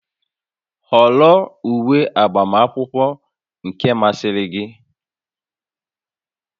Họrọ uwe agbamakwụkwọ nke masịrị gị!